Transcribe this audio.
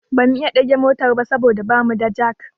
Ba mu iya ɗage motar ba saboda ba mu da jak